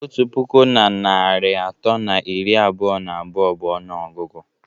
Otu puku na narị atọ na iri abụọ na abụọ bụ ọnụọgụgụ